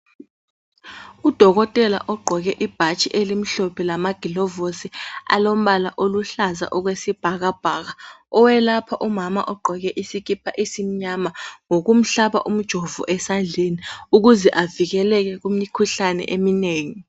Udokotela ogqoke ibhatshi elimhlophe lama gilovosi alombala oluhlaza okwesibhaka bhaka owelapha umama ogqoke isikipa esimnyama ngokumuhlaba umjovo esandleni ukuze avikeleke kumikhuhlane eminengi.